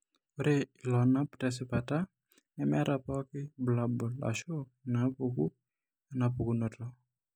Ore iloonap tesipata nemeeta pooki bulabul ashu inaapuku enapukunoto.